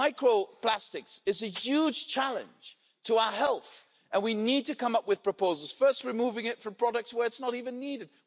Microplastics are a huge challenge to our health, and we need to come up with proposals firstly, removing it from products where it's not even needed.